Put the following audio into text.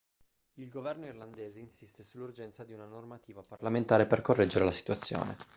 il governo irlandese insiste sull'urgenza di una normativa parlamentare per correggere la situazione